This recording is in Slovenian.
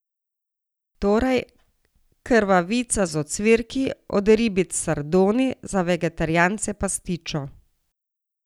Torej, krvavica z ocvirki, od ribic sardoni, za vegetarijance pastičo.